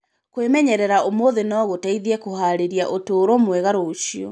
Kwĩmenyerera ũmũthĩ no gũteithie kũhaarĩria ũtũũro mwega rũciũ.